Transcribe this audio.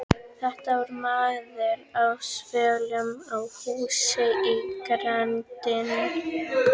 Þetta var maður á svölum á húsi í grenndinni.